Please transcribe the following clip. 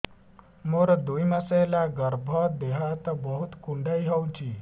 ମୋର ଦୁଇ ମାସ ହେଲା ଗର୍ଭ ଦେହ ହାତ ବହୁତ କୁଣ୍ଡାଇ ହଉଚି